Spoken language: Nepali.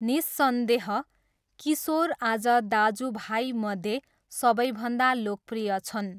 निस्सन्देह, किशोर आज दाजुभाइमध्ये सबैभन्दा लोकप्रिय छन्।